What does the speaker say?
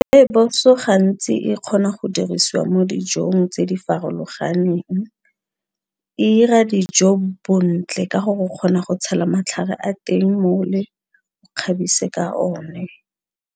Rooibos-o gantsi e kgona go dirisiwa mo dijong tse di farologaneng e 'ira dijo bontle ka gore o kgona go tshela matlhare a teng mole o kgabise ka one.